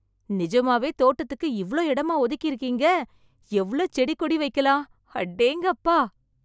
நிஜமாவே தோட்டத்துக்கு இவ்ளோ இடமா ஒதுக்கி இருக்கீங்க. எவ்ளோ செடி கோடி வைக்கலாம். அடேங்கப்பா!